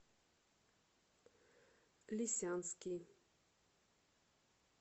лисянский